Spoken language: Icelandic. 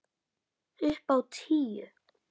Upp á tíu.